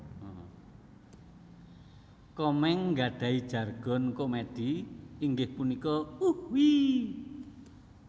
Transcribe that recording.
Komeng nggadhahi jargon komedi inggih punika Uhuiiii